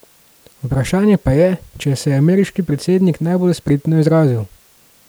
Vprašanje pa je, če se je ameriški predsednik najbolj spretno izrazil.